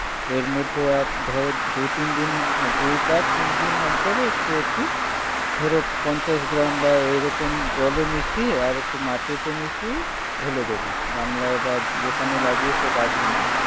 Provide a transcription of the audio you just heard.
এর মধ্যে আর ধরো দু-তিনদিন, দুই বা তিনদিন অন্তরে একটু একটু ধরো পঞ্চাশ গ্রাম বা এইরকম জলে মিশিয়ে আর একটু মাটিতে মিশিয়ে ঢেলে দেবে গামলায় বা যেখানে লাগিয়েছ গাছগুলো।